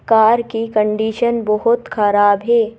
Car की condition बहोत खराब है।